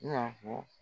I n'a fɔ